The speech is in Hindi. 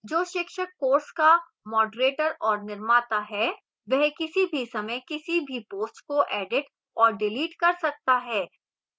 जो शिक्षक course का moderator और निर्माता है वह किसी भी समय किसी भी post को edit और डिलीट कर सकता है